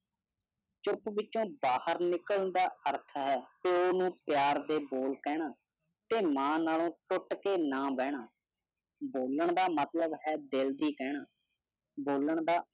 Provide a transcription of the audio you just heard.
ਚੁੱਪ ਵਿੱਚੋ ਬਾਹਰ ਨਿਕਲਣ ਦਾ ਅਰਥ ਹੈ ਪਿਆਰ ਦੇ ਬੋਲ ਕਹਿਣਾ ਤੇ ਮਨ ਨਾਲੋਂ ਟੁੱਟ ਕੇ ਨਾ ਬਹਿਣਾ। ਬੋਲਣ ਦਾ ਮਤਲਬ ਹੈ ਦਿਲ ਦੇ ਕਹਿਣਾ। ਬੋਲਣ ਦਾ